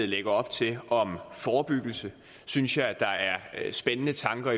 lægger op til om forebyggelse synes jeg der er spændende tanker